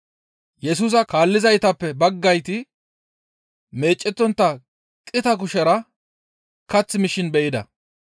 Yesusa kaallizaytappe baggayti meecettontta qita kushera kath mishin be7ida.